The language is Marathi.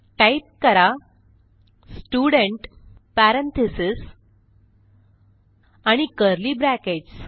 टाईप करा स्टुडेंट पॅरेंथेसिस आणि कर्ली ब्रॅकेट्स